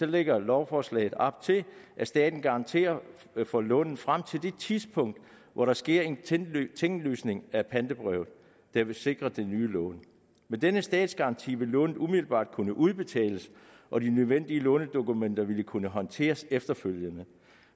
lægger lovforslaget op til at staten garanterer for lånene frem til det tidspunkt hvor der sker en tinglysning af pantebrevet der vil sikre det nye lån med denne statsgaranti vil lånet umiddelbart kunne udbetales og de nødvendige lånedokumenter vil kunne håndteres efterfølgende